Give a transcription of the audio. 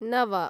नव